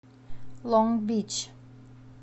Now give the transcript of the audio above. лонг бич